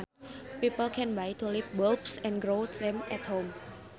People can buy tulip bulbs and grow them at home